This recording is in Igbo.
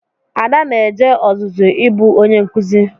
Ada na-eje ọzụzụ ịbụ onye nkụzi.